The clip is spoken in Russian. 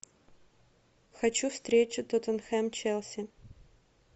хочу встречу тоттенхэм челси